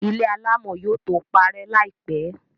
ilé alámọ̀ yóò tó parẹ́ láìpẹ̀.